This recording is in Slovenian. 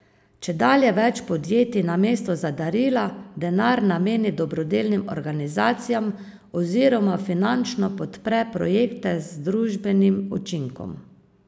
Čedalje več podjetij namesto za darila denar nameni dobrodelnim organizacijam oziroma finančno podpre projekte z družbenim učinkom.